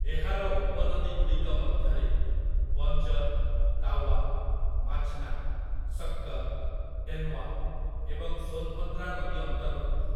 ଏହାର ଉପନଦୀଗୁଡ଼ିକ ମଧ୍ୟରେ ବଞ୍ଜର୍, ତାୱା, ମାଚ୍‌ନା, ଶକ୍କର୍, ଡେନ୍ୱା ଏବଂ ସୋନ୍‌ଭଦ୍ରା ନଦୀ ଅନ୍ତର୍ଭୁକ୍ତ ।